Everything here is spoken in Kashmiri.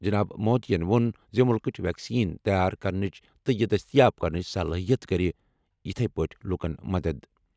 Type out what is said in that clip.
جناب مودیَن ووٚن زِ مُلکٕچ ویکسین تیار کرنٕچ تہٕ یہِ دٔستیاب کرنٕچ صلٲحِیت کَرِ یِتھۍ پٲٹھۍ لوٗکَن مدد۔